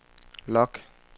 log